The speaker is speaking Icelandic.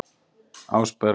Ásberg